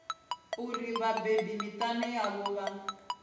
uri vhabebi miṱani yavho vha